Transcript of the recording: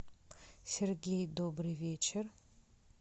сергей добрый вечер